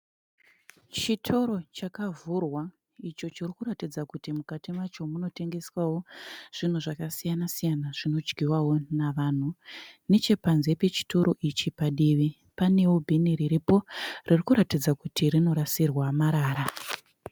Chitoro chakavhurwa icho chirikuratidza kuti mukati macho munotengeswawo zvinhu zvakasiyana-siyana zvinodyiwawo navanhu. Nechepanze pechitoro ichi padivi, panewo bhini riripo ririkuratidza kuti rinorasirwa marara.